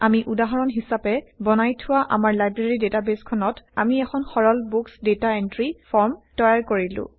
আমি উদাহৰণ হিচাপে বনাই থোৱা আমাৰ লাইব্ৰেৰী ডেটাবেইছখনত আমি এখন সৰল বুকচ ডেটা এন্ট্ৰি ফৰ্ম তৈয়াৰ কৰিলো